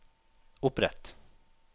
opprett